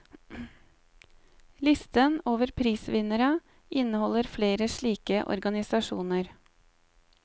Listen over prisvinnere inneholder flere slike organisasjoner.